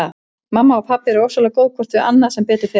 Mamma og pabbi eru ofsalega góð hvort við annað sem betur fer.